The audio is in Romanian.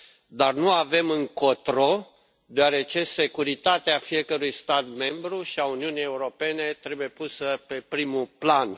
dar nu avem încotro, deoarece securitatea fiecărui stat membru și a Uniunii Europene trebuie pusă pe primul plan.